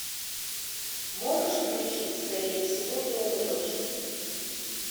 можешь включить скорее всего ты умрешь